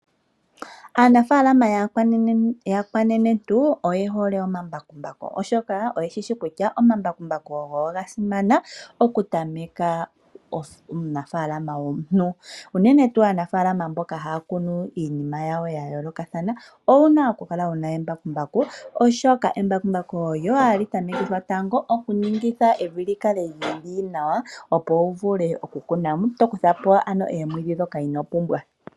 Aanafalama aanenentu oye hole omambakumbaku oshoka oyeshishi kutya omambakumbaku ogo gasima okutamekithwa uunafalama. Unene aanafalama mboka hya kunu iinima ya yooloka oshoka embakumbaku olyo lina okutamekithwa tango oku kutha po omwiidhi ndhoka ino pumbwa.